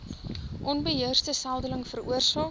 onbeheerste seldeling veroorsaak